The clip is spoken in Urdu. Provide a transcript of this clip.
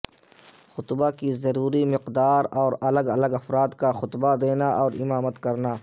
خطبہ کی ضروری مقدار اور الگ الگ افراد کا خطبہ دینا اور امامت کرنا